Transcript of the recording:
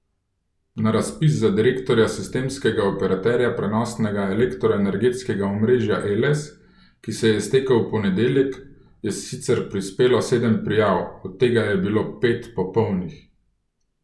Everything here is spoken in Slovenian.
Na razpis za direktorja sistemskega operaterja prenosnega elektroenergetskega omrežja Eles, ki se je iztekel v ponedeljek, je sicer prispelo sedem prijav, od tega je bilo pet popolnih.